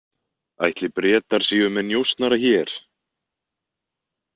Ætli Bretar séu með njósnara hér?